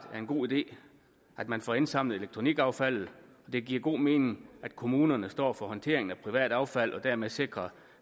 en god idé at man får indsamlet elektronikaffaldet og det giver god mening at kommunerne står for håndteringen af privat affald og dermed sikrer